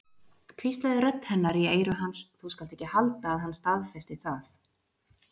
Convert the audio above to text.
hvíslaði rödd hennar í eyru hans, þú skalt ekki halda að hann staðfesti það.